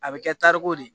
A bɛ kɛ tariku de ye